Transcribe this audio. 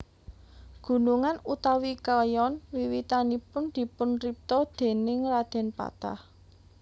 Gunungan utawi kayon wiwitanipun dipunripta déning Radèn Patah